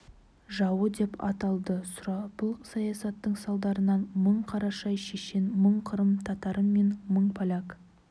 жауы деп атылды сұрапыл саясаттың салдарынан мың қарашай шешен мың қырым татары мен мың поляк